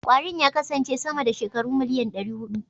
Kwarin ya kasance sama da shekaru miliyan ɗari huɗu.